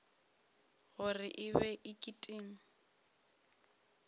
gore e be e kitima